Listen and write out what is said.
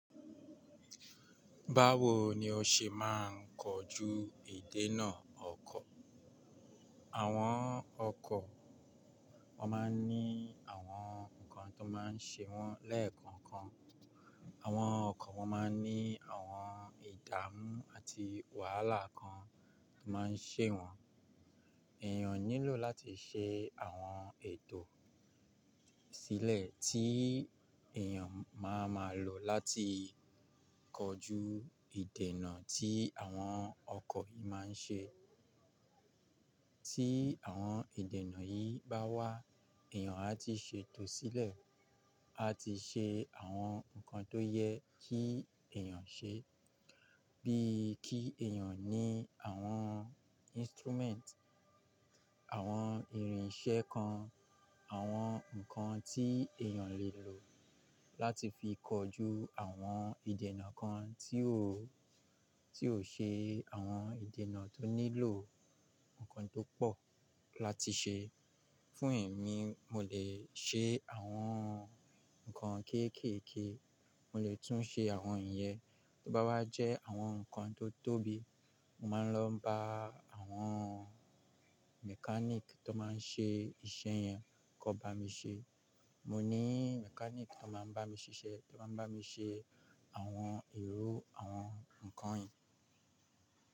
Báwo ni o ṣe máa ń kojú ìdènà ọkọ̀? Àwọn ọkọ̀ wọ́n máa ń ní àwọn nǹkan tó máa ń ṣe wọ́n lẹ́ẹ̀kan kan. Àwọn ọkọ̀ wọ́n máa ń ní àwọn ìdààmú àti wàhálà kan tó máa ń ṣe wọ́n. Èèyàn nílò láti ṣe àwọn ètò sílẹ̀ tí èèyàn má má lò láti kọjú ìdènà tí àwọn ọkọ̀ yìí máa ń ṣe. Tí àwọn ìdènà yìí bá wá, èèyàn á ti ṣètò sílẹ̀, á ti ṣe àwọn nǹkan tó yẹ kí èèyàn ṣe. Bíi kí èèyàn ní àwọn instrument, àwọn irinṣẹ́ kan, àwọn nǹkan tí èèyàn lẹ́ lò láti fi kojú àwọn ìdènà kan tí ò-- tí ò ṣe àwọn ìdènà tó nílò nǹkan tó pọ̀ láti ṣe. Fún èmi, mo lè ṣe àwọn nǹkan kéékèèké, mo lè tún ṣe àwọn ǹyẹ́. Tó bá wá jẹ́ àwọn nǹkan tó tóbi, mo máa ń lọ bá àwọn mechanic tó máa ń ṣe iṣẹ́ yẹn kó bá mi ṣe. Mo ní mechanic tó máa ń bá mi ṣiṣẹ́, tó máa ń bá mi ṣe àwọn èrò àwọn nǹkan yìí.